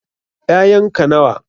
Ƴayan ka nawa?